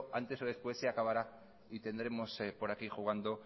antes o después se acabará y tendremos por aquí jugando